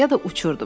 Ya da uçurdum.